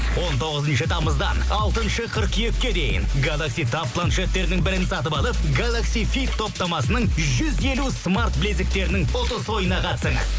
он тоғызыншы тамыздан алтыншы қыркүйекке дейін гэлакси таб планшеттерінің бірін сатып алып гэлакс вип топтамасының жүз елу смарт білезіктерінің ұтыс ойынына қатысыңыз